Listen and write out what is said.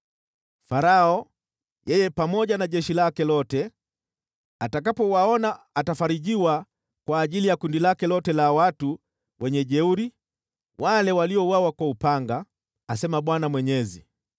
“Farao, yeye pamoja na jeshi lake lote, atakapowaona atafarijiwa kwa ajili ya makundi yake yote ya wajeuri, wale waliouawa kwa upanga, asema Bwana Mwenyezi.